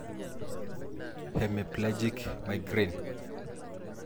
hemiplegic migraine.